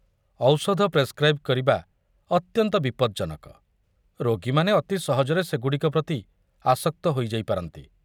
ଔଷଧ ପ୍ରେସ୍‌କ୍ରାଇବ୍ କରିବା ଅତ୍ୟନ୍ତ ବିପଦଜନକ, ରୋଗୀମାନେ ଅତି ସହଜରେ ସେଗୁଡ଼ିକ ପ୍ରତି ଆସକ୍ତ ହୋଇଯାଇପାରନ୍ତି।